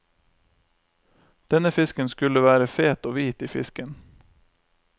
Denne fisken skulle være fet og hvit i fisken.